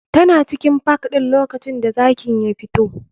Tana cikin park ɗin lokacin da zakin ya fito.